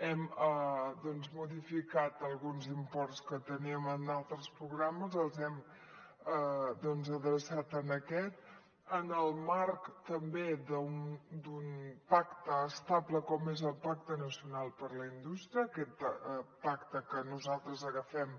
hem doncs modificat alguns imports que teníem en altres programes els hem adreçat a aquest en el marc també d’un pacte estable com és el pacte nacional per a la indústria aquest pacte que nosaltres agafem